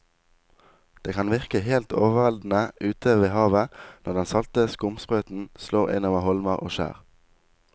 Det kan virke helt overveldende ute ved havet når den salte skumsprøyten slår innover holmer og skjær.